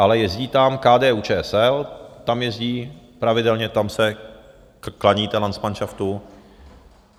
Ale jezdí tam KDU-ČSL, tam jezdí pravidelně, tam se klaníte landsmanšaftu.